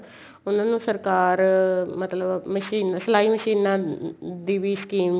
ਉਹਨਾ ਨੂੰ ਸਰਕਾਰ ਮਤਲਬ machine ਸਲਾਈ ਮਸ਼ੀਨਾ ਦੀ ਵੀ scheme